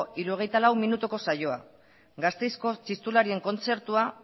hirurogeita lau minutuko saioa gasteizko txistularien kontzertua